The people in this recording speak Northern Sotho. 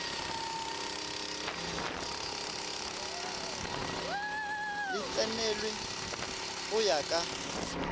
le tsenelwe go ya ka